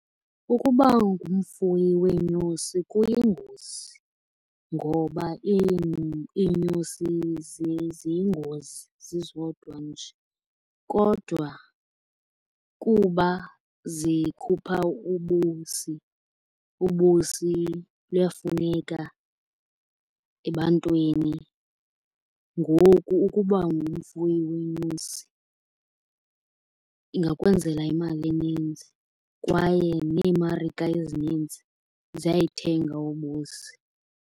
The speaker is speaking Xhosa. Ukuba ngumfuyi weenyosi kuyingozi. Ngoba iinyosi ziyingozi zizodwa nje. Kodwa kuba zikhupha ubusi, ubusi luyafuneka ebantwini, ngoku ukuba ngumfuyi weenyosi ingakwenzela imali eninzi kwaye neemarike ezininzi ziyayithenga ubusi.